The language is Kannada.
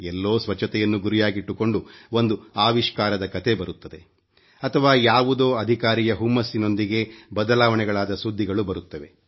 ಎಲ್ಲೋ ಸ್ವಚ್ಚತೆಯನ್ನು ಗುರಿಯಾಗಿಟ್ಟುಕೊಂಡು ಒಂದು ಆವಿಷ್ಕಾರದ ಕಥೆ ಬರುತ್ತದೆ ಅಥವಾ ಯಾವುದೋ ಅಧಿಕಾರಿಯ ಹುಮ್ಮಸ್ಸಿನೊಂದಿಗೆ ಬದಲಾವಣೆಗಳಾದ ಸುದ್ದಿಗಳು ಬರುತ್ತವೆ